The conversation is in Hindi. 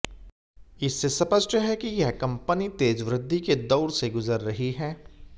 इससे स्पष्ट है कि यह कंपनी तेज वृद्धि के दौर से गुजर रही है